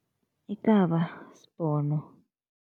Ikaba sibhono.